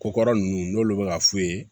Ko kɔrɔ nunnu n'olu be ka f'u ye